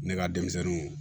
Ne ka denmisɛnninw